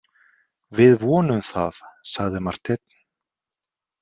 Við vonum það, sagði Marteinn.